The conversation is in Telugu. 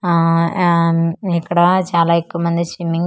ఆఆ యామ్ ఇక్కడ చాలా ఎక్కువమంది స్సిమ్మింగ్ .